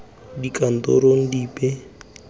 dikantorong dipe fela ntle le